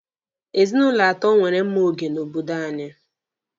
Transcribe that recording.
Ezinụlọ atọ nwere mma oge n'obodo anyị.